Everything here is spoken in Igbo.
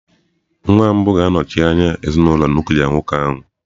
Nwa mbụ ya ga-anọchi anya ezinụlọ nuklia nwoke ahụ.